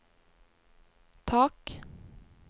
tak